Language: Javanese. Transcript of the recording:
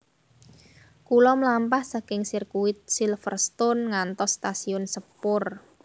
Kulo mlampah saking sirkuit Silverstone ngantos stasiun sepur